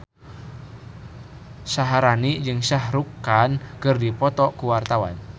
Syaharani jeung Shah Rukh Khan keur dipoto ku wartawan